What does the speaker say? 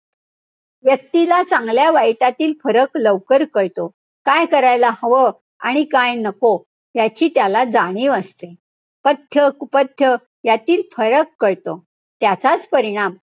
व्यक्तीला चांगल्या वाईटातील फरक लवकर कळतो. काय करायला हवं आणि काय नको, याची त्याला जाणीव असते. पथ्य, कुपथ्य यातील फरक कळतो. त्याचाच परिणाम,